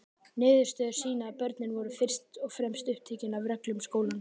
Niðurstöður sýna að börnin voru fyrst og fremst upptekin af reglum skólans.